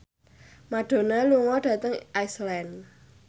Madonna lunga dhateng Iceland